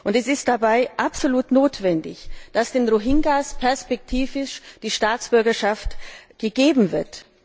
Es ist dabei absolut notwendig, dass den Rohingyas perspektivisch die Staatsbürgerschaft gegeben wird.